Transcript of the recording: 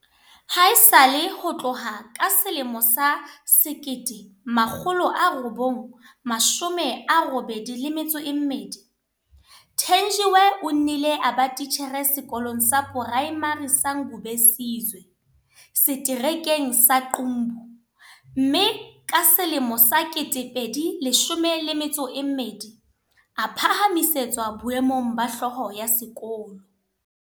Haesale ho tloha ka 1982, Thenjiwe o nnile a ba titjhere Sekolong sa Poraemari sa Ngubesizwe, Seterekeng sa Qumbu, mme ka 2012 a phahamisetswa boemong ba hlooho ya sekolo.